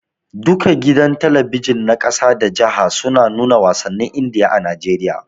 Duka gidan talabijin na ƙasa da jiha suna nuna wasannin Indiya a Najeriya.